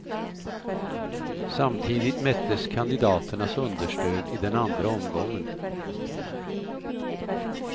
Samtidigt mättes kandidaternas understöd i den andra omgången.